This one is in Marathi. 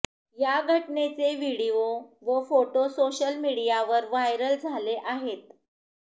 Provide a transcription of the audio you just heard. या घटनेचे व्हीडीओ व फोटो सोशल मिडीयावर व्हायरल झाले आहेत